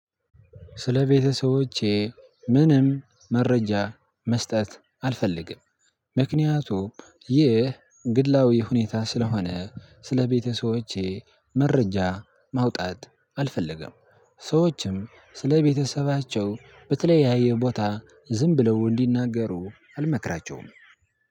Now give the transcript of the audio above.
ስለ ቤተሰቦቼ ምንም መረጃ መስጠት አልፈልግም ምክንያቱም ይህ ግድላዊ ሁኔታ ስለሆነ ስለቤተሰቦቼ መረጃ ማውጣት አልፈለገም። ሰዎችም ስለ ቤተሰባቸው በተለያየ ቦታ ዝም ብለው እንዲናገሩ አልመክራቸውም።